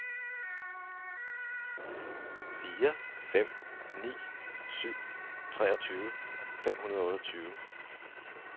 fire fem ni syv treogtyve fem hundrede og otteogtyve